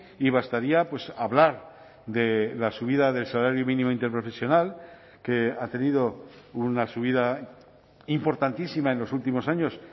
y bastaría hablar de la subida del salario mínimo interprofesional que ha tenido una subida importantísima en los últimos años